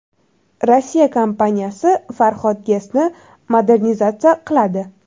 Rossiya kompaniyasi Farhod GESni modernizatsiya qiladi.